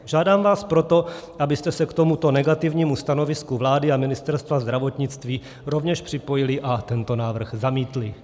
Žádám vás proto, abyste se k tomuto negativnímu stanovisku vlády a Ministerstva zdravotnictví rovněž připojili a tento návrh zamítli.